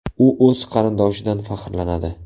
U o‘z qarindoshidan faxrlanadi.